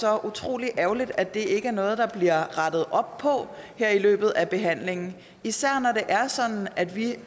er utrolig ærgerligt at det ikke er noget der bliver rettet op på her i løbet af behandlingen især når det er sådan at vi